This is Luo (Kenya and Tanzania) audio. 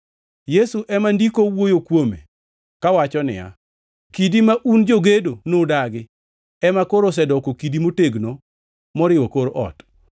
Yesu ema Ndiko owuoyo kuome kawacho niya, “ ‘Kidi ma un jogedo nudagi ema koro osedoko kidi motegno moriwo kor ot.’ + 4:11 \+xt Zab 118:22\+xt*